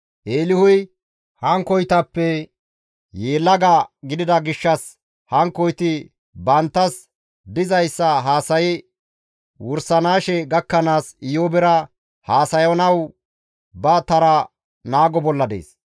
Eelihuy hankkoytappe yelaga gidida gishshas hankkoyti banttas dizayssa haasayi wursanaashe gakkanaas Iyoobera haasayanawu ba tara naago bolla dees.